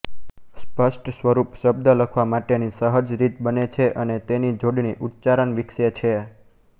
સ્પષ્ટ સ્વરૂપ શબ્દ લખવા માટેની સહજ રીત બને છે અને તેની જોડણી ઉચ્ચારણ વિકસે છે